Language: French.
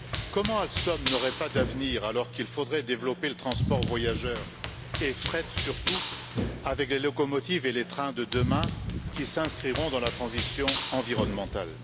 Comment Alstom n'aurait il pas d'avenir, alors qu'il faudrait développer le transport voyageurs et fret, surtout avec les locomotives et les trains de demain qui s'inscriront dans la transition environnementale.